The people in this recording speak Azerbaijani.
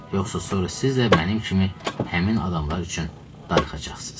Yoxsa sonra siz də mənim kimi həmin adamlar üçün darıxacaqsınız.